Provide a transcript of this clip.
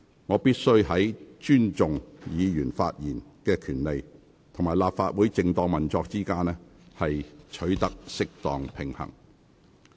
我必須在尊重議員發言權利與立法會正當運作之間，取得適當平衡。